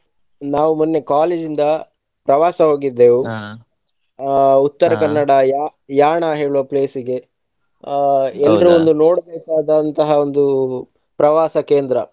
ನಾವು ಮೊನ್ನೆ college ಇಂದ ಪ್ರವಾಸ ಆ Utthara ಯಾ~ ಯಾಣ ಹೇಳುವ place ಇಗೆ ಆ ಒಂದು ನೋಡಬೇಕಾದಂತಹ ಒಂದು ಪ್ರವಾಸ ಕೇಂದ್ರ.